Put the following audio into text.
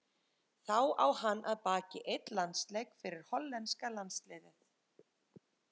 Þá á hann að baki einn landsleik fyrir hollenska landsliðið.